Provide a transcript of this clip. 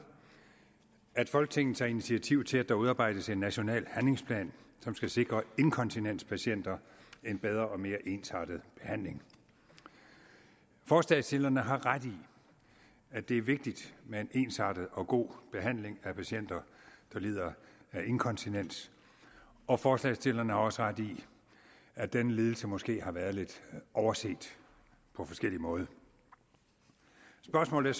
at folketinget tager initiativ til at der udarbejdes en national handlingsplan som skal sikre inkontinenspatienter en bedre og mere ensartet behandling forslagsstillerne har ret i at det er vigtigt med en ensartet og god behandling af patienter der lider af inkontinens og forslagsstillerne har også ret i at denne lidelse måske har været lidt overset på forskellig måde spørgsmålet